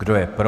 Kdo je pro?